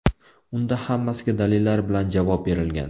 Unda hammasiga dalillar bilan javob berilgan.